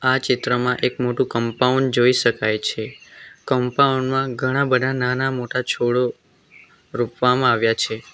આ ચિત્રમાં એક મોટું કમ્પાઉન્ડ જોઈ શકાય છે કમ્પાઉન્ડ માં ઘણા બધા નાના મોટા છોડો રોપવામાં આવ્યા છે.